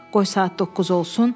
Qoy saat doqquz olsun.